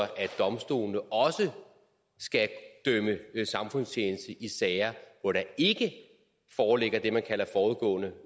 domstolene også skal idømme samfundstjeneste i sager hvor der ikke foreligger det man kalder forudgående